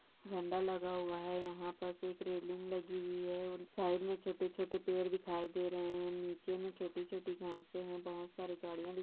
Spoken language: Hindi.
झंडा लगा हुआ है यहा पर से एक रेलिंग लगी हुई है और साइड मे छोटे छोटे पेड़ दिखाई दे रहे है नीचे मे छोटी छोटी घासे है बहुत सारी गड़िया दी--